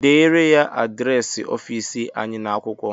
Deere ya adịresị ọfịịsị anyị n'akwụkwọ!